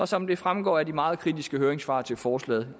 som det fremgår af de meget kritiske høringssvar til forslaget